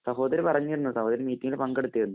സഹോദരി പറഞ്ഞിരുന്നു. സഹോദരി മീറ്റിങ്ങില്‍ പങ്കെടുത്തിരുന്നു.